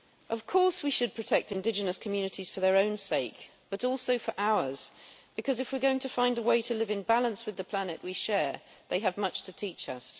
Of course we should protect indigenous communities for their own sake, but also for ours because, if we are going to find a way to live in balance with the planet we share, they have much to teach us.